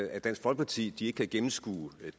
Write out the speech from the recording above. at dansk folkeparti ikke kan gennemskue